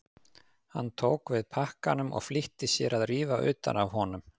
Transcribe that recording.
Hann tók við pakkanum og flýtti sér að rífa utan af honum.